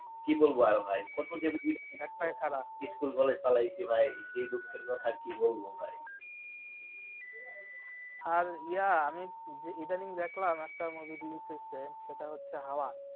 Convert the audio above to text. কি বলবো আর ভাই কত movie school college পালাইছি ভাই এই দুঃখের কথা কি বলবো ভাই আর ইয়া আমি ইদানিং দেখলাম একটা movie reliease হয়েসে সেটা হচ্ছে হাওয়া